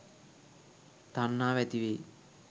තණ්හාව ඇතිවෙයි.